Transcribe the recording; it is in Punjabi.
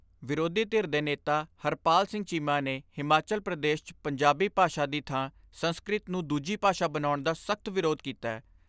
ਵਿਰੋਧੀ ਧਿਰ ਦੇ ਨੇਤਾ ਹਰਪਾਲ ਸਿੰਘ ਚੀਮਾ ਨੇ ਹਿਮਾਚਲ ਪ੍ਰਦੇਸ਼ 'ਚ ਪੰਜਾਬੀ ਭਾਸ਼ਾ ਦੀ ਥਾਂ ਸੰਸਕ੍ਰਿਤ ਨੂੰ ਦੂਜੀ ਭਾਸ਼ਾ ਬਣਾਉਣ ਦਾ ਸਖਤ ਵਿਰੋਧ ਕੀਤੈ।